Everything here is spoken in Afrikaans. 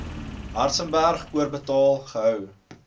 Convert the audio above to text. hartzenberg oorbetaal gehou